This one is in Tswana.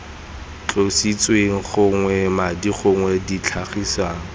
tlositsweng gognwe madi gongwe ditlhagiswa